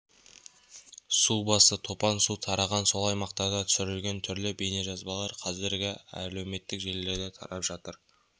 су басты топан су тараған сол аймақтарда түсірілген түрлі бейнежазбалар қазір әлеуметтік желілерде тарап жүр